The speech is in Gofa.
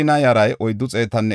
Anatoota asay 128;